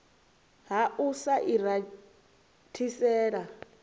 ha u sa i rathisela